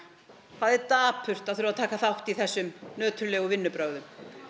það er dapurt að þurfa að taka þátt í þessum nöturlegu vinnubrögðum